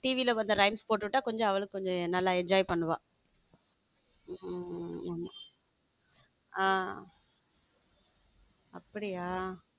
TV rhymes போட்டு விட்டா கொஞ்சம் அவளுக்கு நல்லா enjoy பண்ணுவ ஹம் அப்படியா.